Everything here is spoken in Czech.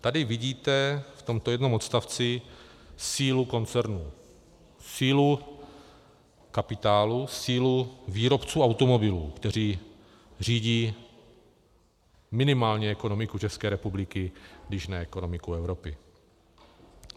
Tady vidíte, v tomto jednom odstavci, sílu koncernu, sílu kapitálu, sílu výrobců automobilů, kteří řídí minimálně ekonomiku České republiky, když ne ekonomiku Evropy.